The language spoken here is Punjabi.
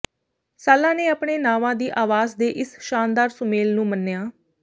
ਸਾੱਲਾ ਨੇ ਆਪਣੇ ਨਾਵਾਂ ਦੀ ਆਵਾਜ਼ ਦੇ ਇਸ ਸ਼ਾਨਦਾਰ ਸੁਮੇਲ ਨੂੰ ਮੰਨਿਆਂ